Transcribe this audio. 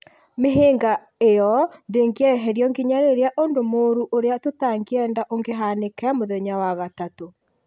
Mĩhĩnga ĩyo ndĩngĩeherio nginya rĩrĩa ũndũ mũũru ũrĩa tũtangĩenda ũngĩhaanĩke mũthenya wa gatatũ.